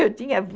Eu tinha